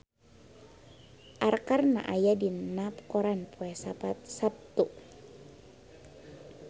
Arkarna aya dina koran poe Saptu